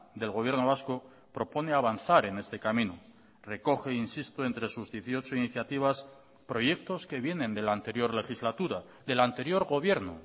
del gobierno vasco propone avanzar en este camino recoge insisto entre sus dieciocho iniciativas proyectos que vienen de la anterior legislatura del anterior gobierno